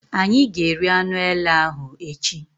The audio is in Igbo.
Ányi ga-eri anụ èlé ahụ echi